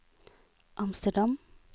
Amsterdam